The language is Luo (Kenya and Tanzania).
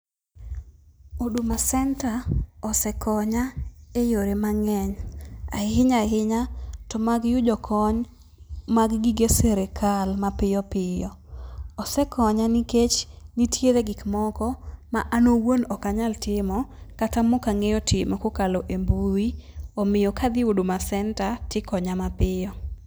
Huduma center osekonya e yore mang'eny, ahinya ahinya to mag yudo kony mag gige sirikal ma piyopiyo. Osekonya nikech nitiere gik moko ma an owuon ok anyal timo kata mok ang'eyo timo kokalo e mbui. Omiyo kadhi huduma center tikonya mapiyo.